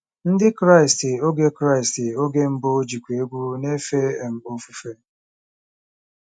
Ndị Kraịst oge Kraịst oge mbụ jikwa egwú na-efe um ofufe.